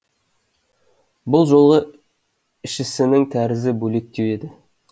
бұл жолы ішісінің тәрізі бөлектеу еді